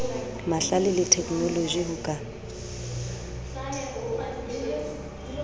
mahlale le theknoloji ho ka